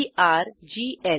TRGL